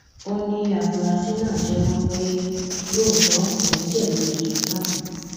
ó ní àfúrásì náà jẹwọ pé lóòótọ òun jẹbi ẹsùn náà